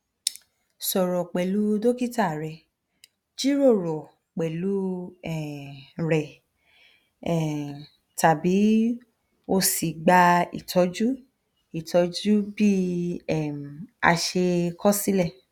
sọrọ pẹlu dokita rẹ jiroro pẹlu um rẹ um tabi o si gba itọju itọju bi um ase kosile